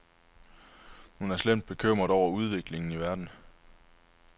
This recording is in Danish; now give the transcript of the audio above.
Hun er slemt bekymret over udviklingen i verden.